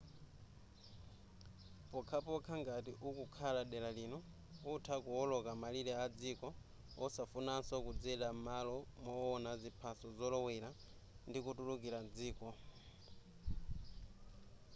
pokhapokha ngati ukukhala mdera lino utha kuwoloka malire adziko osafunaso kudzera m'malo mowona ziphaso zolowera ndi kutulukira mdziko